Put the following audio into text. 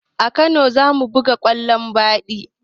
A kano zamu buga kwallo baɗi